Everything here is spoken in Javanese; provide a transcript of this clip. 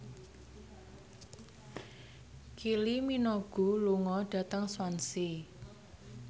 Kylie Minogue lunga dhateng Swansea